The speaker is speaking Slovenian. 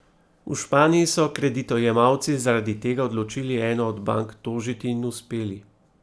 V Španiji so se kreditojemalci zaradi tega odločili eno od bank tožiti in uspeli.